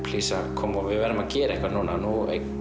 plís að koma við verðum að gera eitthvað núna nú